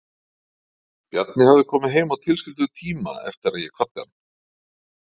Bjarni hafði komið heim á tilskildum tíma eftir að ég kvaddi hann.